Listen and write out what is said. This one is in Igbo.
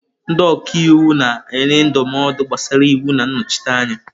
Ndị ọka iwu na-enye ndụmọdụ gbasara iwu na nnọchite anya.